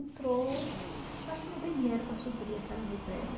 Entrou, acho que não tem dinheiro para suprir aquela miséria.